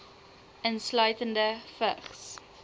insluitende vigs